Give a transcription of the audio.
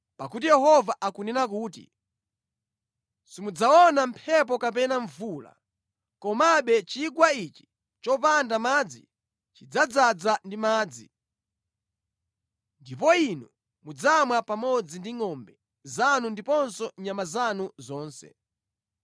Pakuti Yehova akunena kuti, ‘Simudzaona mphepo kapena mvula, komabe chigwa ichi chopanda madzi chidzadzaza ndi madzi, ndipo inu mudzamwa pamodzi ndi ngʼombe zanu ndiponso nyama zanu zonse.’